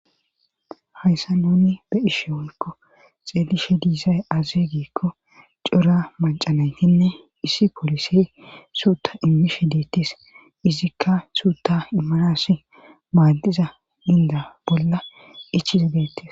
Hayssa nuni be ishe wonkko xeelishe diisay aze giikko cora macanaytinne issi polise suuta immishe deettis izikka suuta imarassi maaddiza inda bolla ichiza geettis